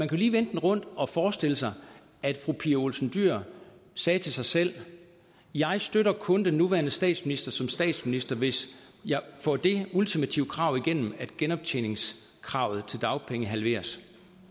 jo lige vende den rundt og forestille sig at fru pia olsen dyhr sagde til sig selv jeg støtter kun den nuværende statsminister som statsminister hvis jeg får det ultimative krav igennem at genoptjeningskravet til dagpengene halveres